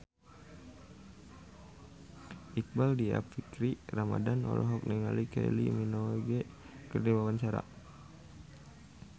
Iqbaal Dhiafakhri Ramadhan olohok ningali Kylie Minogue keur diwawancara